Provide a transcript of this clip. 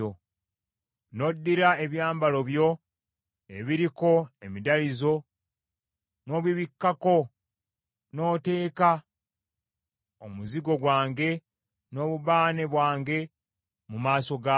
n’oddira ebyambalo byo ebiriko emidalizo n’obibikkako, n’oteeka omuzigo gwange n’obubaane bwange mu maaso gaabyo.